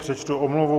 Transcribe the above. Přečtu omluvu.